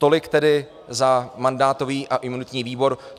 Tolik tedy za mandátový a imunitní výbor.